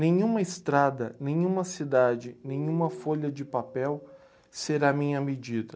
Nenhuma estrada, nenhuma cidade, nenhuma folha de papel será minha medida.